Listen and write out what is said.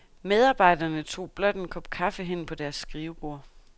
Medarbejderne tog blot en kop kaffe hen på deres skrivebord.